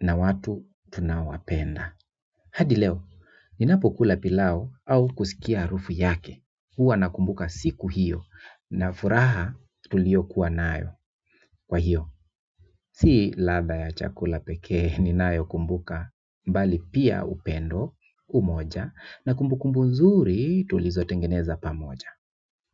na watu tunaowapenda hadi leo, ninapokula pilau au kusikia harufu yake huwa nakumbuka siku hiyo na furaha tuliokuwa nayo kwa hiyo. Sii ladha ya chakula pekee ninayokumbuka bali pia upendo umoja na kumbukumbu nzuri tulizotengeneza pamoja.